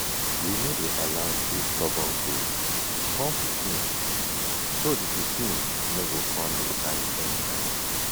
we no dey allow two stubborn goats born pikin so the pikin no go come dey fight anyhow.